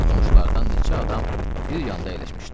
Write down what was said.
Qonşulardan neçə adam bir yanda əyləşmişdilər.